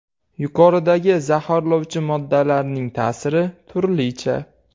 Yuqoridagi zaharlovchi moddalarning ta’siri turlicha.